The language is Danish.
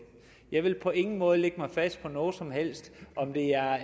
jeg vil på ingen måde lægge mig fast på noget som helst om det er